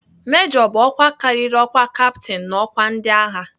Mejọ bụ ọkwa karịrị ọkwa kaptin n'ọkwa ndịagha.